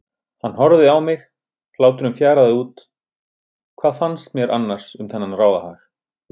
Hann horfði á mig, hláturinn fjaraði út, hvað fannst mér annars um þennan ráðahag?